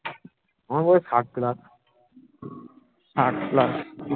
আমার বাবার ষাট plus ষাট plus